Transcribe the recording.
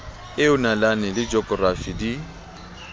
eo nalane le jokorafi di